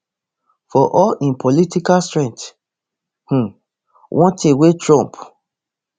for all im political strength um one thing wey trump